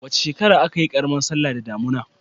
Wace shekara ce aka yi karamar sallah da damuna?